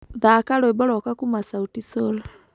Thaka rwĩmbo rwakwa kũma sauti sol